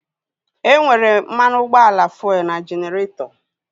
E nwere mmanụ ụgbọala fuelu n'jeneretọ